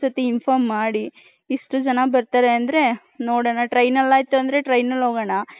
ನಂಗ್ ಒಂದ್ ಸತಿ inform ಮಾಡಿ.ಇಷ್ಟ ಜನ ಬರ್ತಾರೆ ಅಂದ್ರೆ ನೋಡನ train ಅಲ್ಲಿ ಅಯ್ರ್ಹು ಅಂದ್ರೆ train ಅಲ್ಲಿ ಹೋಗೋಣ .